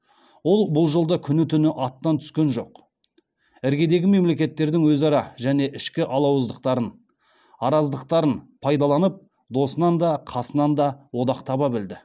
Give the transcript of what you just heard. ол бұл жолда күні түні аттан түскен жоқ іргедегі мемлекеттердің өзара және ішкі алауыздықтарын араздықтарын пайдаланып досынан да қасынан да одақ таба білді